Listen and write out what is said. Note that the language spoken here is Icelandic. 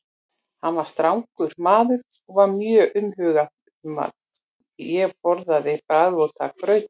Hann var strangur maður og var mjög umhugað um að ég borðaði bragðvonda grauta.